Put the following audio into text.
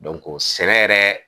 sɛnɛ yɛrɛ